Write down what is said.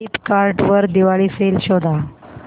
Flipkart वर Diwali sale शोधा